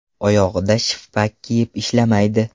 Oyog‘ida shippak kiyib ishlamaydi.